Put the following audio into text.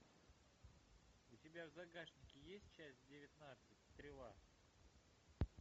у тебя в загашнике есть часть девятнадцать стрела